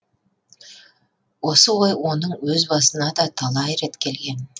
осы ой оның өз басына да талай рет келген